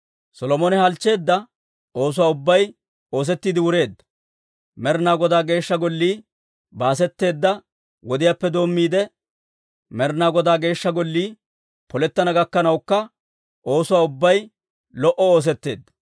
Solomone halchcheedda oosuwaa ubbay oosettiide wureedda; Med'inaa Godaa Geeshsha Gollii baasetteedda wodiyaappe doommiide, Med'inaa Godaa Geeshsha Gollii polettana gakkanawukka oosuwaa ubbay lo"o oosetteedda.